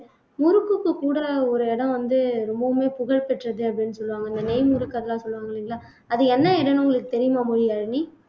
முறுக்குக்கு கூட ஒரு இடம் வந்து ரொம்பவுமே புகழ் பெற்றது அப்படின்னு சொல்லுவாங்க இந்த நெய் முறுக்கு அதெல்லாம் சொல்லுவாங்க இல்லைங்களா அது என்ன இடம்ன்னு உங்களுக்கு தெரியுமா மொழியாழினி